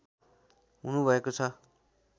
हुनुभएको छ